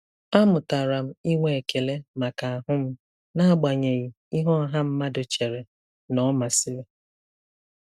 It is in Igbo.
A mụtara m inwe ekele maka ahụ m n'agbanyeghị ihe ọha mmadụ chere na ọ masịrị.